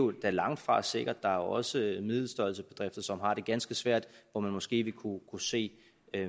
er da langtfra sikkert er jo også middelstørrelsebedrifter som har det ganske svært hvor man måske vil kunne se